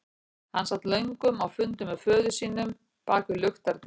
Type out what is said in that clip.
Hann sat löngum á fundum með föður sínum bak við luktar dyr.